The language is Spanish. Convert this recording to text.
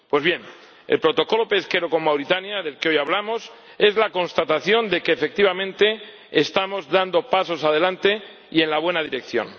Pues bien, el Protocolo pesquero con Mauritania, del que hoy hablamos, es la constatación de que, efectivamente, estamos dando pasos adelante y en la buena dirección.